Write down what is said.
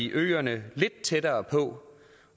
øerne lidt tættere på